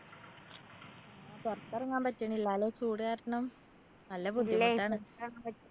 പൊറത്തെറങ്ങാന്‍ പറ്റണില്ലാല്ലേ ചൂട് കാരണം? നല്ല ബുദ്ധിമുട്ടാണ്